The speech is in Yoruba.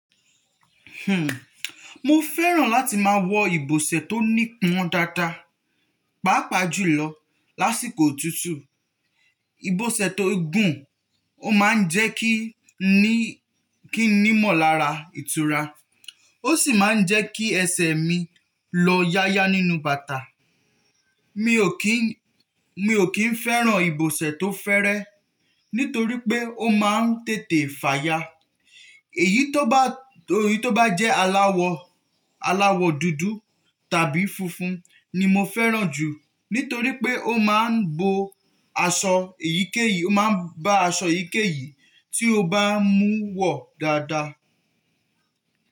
Hhm, mo fẹ́ràn láti máa wọ ibùsẹ̀ tó nípọn dáadáa, pàápàá jùlọ lásìkò otútù. Ibosẹ̀ tó gùn, ó ma ń jẹ́ kí n ní, kí n nímọ̀lára ìtura, ó sì ma ń jẹ́ kí ẹsẹ̀ mi lọ yáyá nínú bàtà. Mi ò kí n, mi ò kí fẹ́ràn ibosẹ̀ tó fẹ́rẹ́ nítorí pé ó ma ń tètè fàya. Èyí tó bá, èyí tó bá jẹ́ aláwọ̀, aláwọ̀ dúdú tàbí funfun ni mo fẹ́ràn jù nítorí pé ó ma ń bo aṣọ èyíkéyìí, ó ma ń ba aṣọ èyíkéyìí tí o bá mú wọ̀ dáadáa.